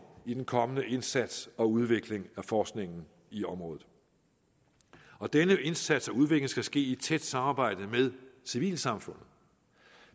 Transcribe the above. i den kommende indsats og udvikling af forskningen i området denne indsats og udvikling skal ske i et tæt samarbejde med civilsamfundet